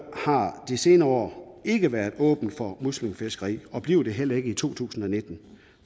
har de senere år ikke været åbne for muslingefiskeri og bliver det heller ikke i to tusind og nitten